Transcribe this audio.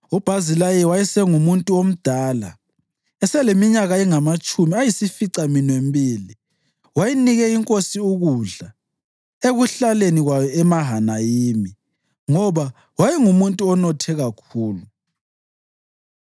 UBhazilayi wayesengumuntu omdala, eseleminyaka engamatshumi ayisificaminwembili. Wayenike inkosi ukudla ekuhlaleni kwayo eMahanayimi, ngoba wayengumuntu onothe kakhulu.